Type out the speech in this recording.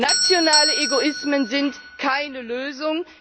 Nationale Egoismen sind keine Lösung.